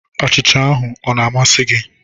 Achịcha ahụ ọ na-amasị gị?